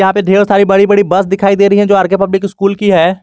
यहां पे ढेर सारी बड़ी बड़ी बस दिखाई दे रही है जो आर के पब्लिक स्कूल की है।